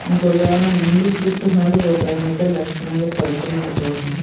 ఇంకొకాయన ముందుకు చూతున్నాడు ఒకాయనాయితే లక్షణంగా పడుకున్నాడు పాపం.